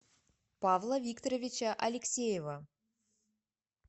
павла викторовича алексеева